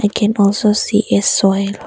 I can also see a soil.